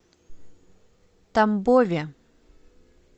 тамбове